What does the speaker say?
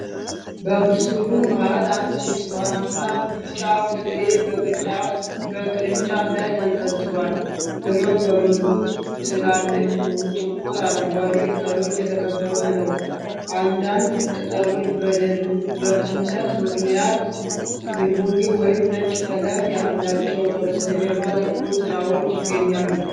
በምስሉ መሀል አንድ ብርቱካንማ-ቢጫ ፍሬ በቅርንጫፍ ላይ ተንጠልጥሏል። ፍሬው በብዙ ትላልቅ፣ ጥቁር አረንጓዴ ቅጠሎች የተከበበ ነው። አንዳንድ ቅጠሎች በደረቅነት ምክንያት የቡኒ ወይም ነጭ ቀለም አላቸው። ከበስተጀርባ ጥቁር ጥላዎች ይገኛሉ።